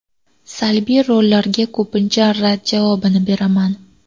Salbiy rollarga ko‘pincha rad javobini beraman.